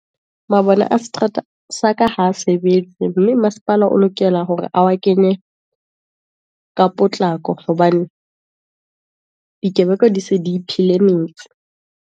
Mabone a seterata sa ka ha sebetse, mme masepala o lokela hore a wa kenye ka potlako, hobane dikebekwa di se di iphile metse.